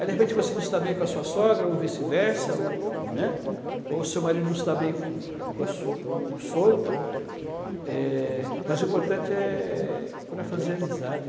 Aí, de repente, você não se dá bem com a sua sogra, ou vice-versa, ou, né? Ou o seu marido não se dá bem com com a su com o, então, eh, mas o importante é procurar fazer amizade.